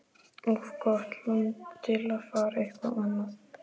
Of gott land til að fara eitthvað annað.